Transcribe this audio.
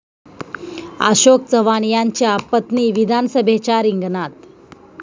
अशोक चव्हाण यांच्या पत्नी विधानसभेच्या रिंगणात?